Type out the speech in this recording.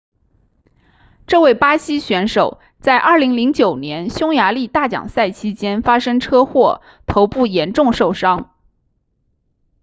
这位巴西选手在2009年匈牙利大奖赛期间发生车祸头部严重受伤